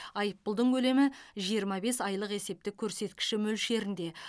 айыппұлдың көлемі жиырма бес айлық есептік көрсеткіші мөлшерінде